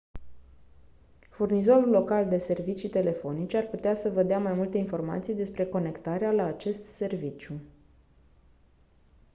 furnizorul local de servicii telefonice ar putea să vă dea mai multe informații despre conectarea la acest serviciu